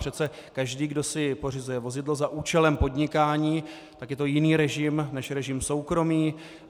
Přece každý, kdo si pořizuje vozidlo za účelem podnikání, tak je to jiný režim než režim soukromý.